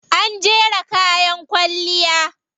An jera kayan kwalliya.